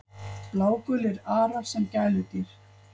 Blágulir arar sem gæludýr